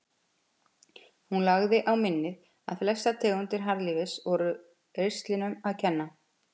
Hún lagði á minnið að flestar tegundir harðlífis voru ristlinum að kenna.